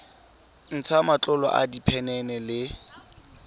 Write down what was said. ntsha matlolo a diphenene le